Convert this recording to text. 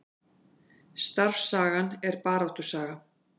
Starfssagan er baráttusaga